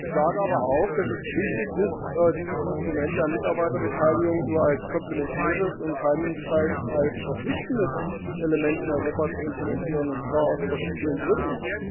Ich sage aber auch, dass es wichtig ist, dieses Instrument der Mitarbeiterbeteiligung nur als komplementäres und keinesfalls als verpflichtendes Element in Europa zu implementieren, und zwar aus verschiedenen Gründen.